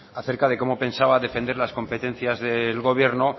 acerca de cómo pensaba defender las competencias del gobierno